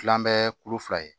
Kilan an bɛ kulu fila ye